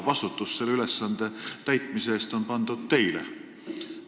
Vastutus selle ülesande täitmise eest on pandud teile.